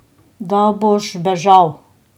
Da boš bežal.